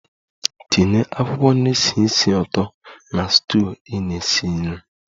Tinye akwụkwọ na-esi ísì ụtọ na stew ị na-esi nri!